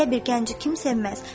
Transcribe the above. Belə bir gənci kim sevməz?